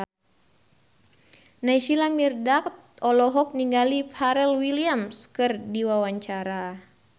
Naysila Mirdad olohok ningali Pharrell Williams keur diwawancara